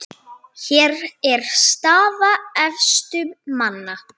Hér er staða efstu manna